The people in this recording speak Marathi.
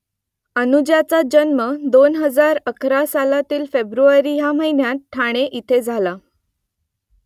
अनुजाचा जन्म दोन हजार अकरा सालातील फेब्रुवारी ह्या महिन्यात ठाणे इथे झाला